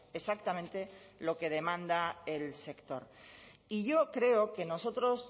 exactamente lo que demanda el sector y yo creo que nosotros